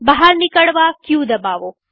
બહાર નિકળવા ક દબાવો